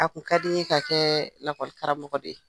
A kun ka di n ye ka kɛ lakɔlikaramɔgɔ de ye